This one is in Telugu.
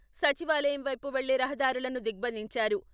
సచివాలయం వైపు వెళ్లే రహదారులను దిగ్భందించారు.